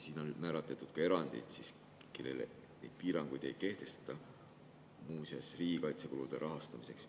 Siin on määratletud ka erandid, kellele piiranguid ei kehtesta, muu seas riigikaitsekulude rahastamiseks.